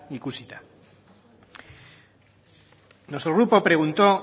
ikusita nuestro grupo preguntó